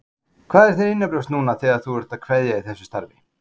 Þóra: Hvað er þér innanbrjósts núna þegar þú ert að kveðja í þessu starfi?